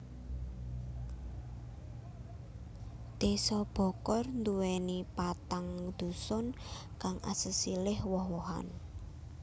Désa Bokor duwéni patang dusun kang asesilih woh wohan